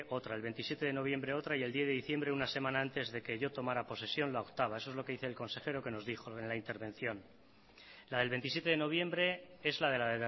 otra el veintisiete de noviembre otra y el diez de diciembre una semana antes de que yo tomara posesión la octava eso es lo que dice el consejero que nos dijo en la intervención la del veintisiete de noviembre es la de la